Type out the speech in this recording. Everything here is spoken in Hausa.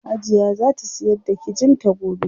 Hajiya zaa ta siyar da kijin ta gobe.